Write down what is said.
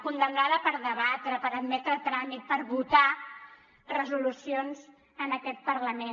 condemnada per debatre per admetre a tràmit per votar resolucions en aquest parlament